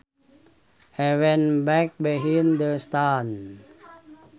He went back behind the stands